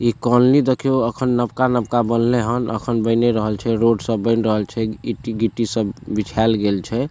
इ कॉलनी देखियो एखन नबका-नबका बनले हैन एखन बने रहल छै रोड सब बन रहल छै इटी-गिट्टी सब बिछाल गेल छै।